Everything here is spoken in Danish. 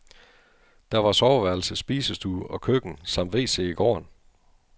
Der var soveværelse, spisestue og køkken samt wc i gården.